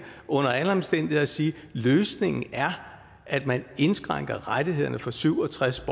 under alle omstændigheder at sige at løsningen er at man indskrænker rettighederne for syv og tres